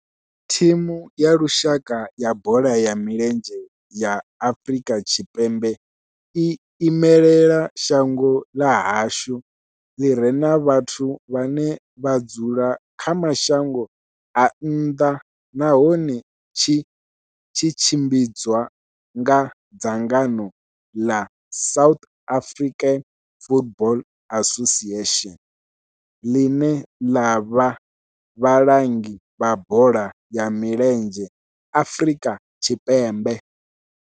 Thimu ya lushaka ya bola ya milenzhe ya Afrika Tshipembe i imela shango ḽa hashu ḽi re na vhathu vhane vha dzula kha mashango a nnḓa nahone tshi tshimbidzwa nga dzangano la South African Football Association, line la vha vhalangi vha bola ya milenzhe Afrika Tshipembe.